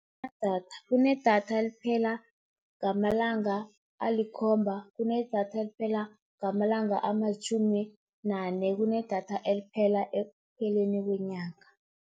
Kunedatha eliphela ngamalanga alikhomba, kunedatha eliphela ngamalanga amalitjhumi nane, kunedatha eliphela ekupheleni kwenyanga.